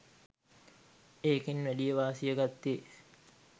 ඒකෙන් වැඩි වාසිය ගත්තෙ